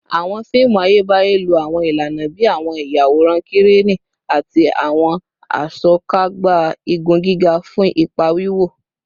Awọn fiimu Ayebaye lo awọn ilana bii awọn iyaworan Kireni ati awọn Asokagba igun giga fun ipa wiwo